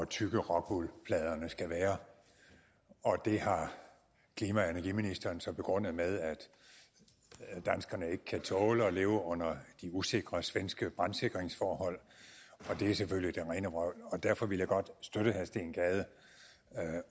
tykke rockwoolpladerne skal være og det har klima og energiministeren så begrundet med at danskerne ikke kan tåle at leve under de usikre svenske brandsikringsforhold det er selvfølgelig det rene vrøvl og derfor vil jeg godt støtte herre steen gade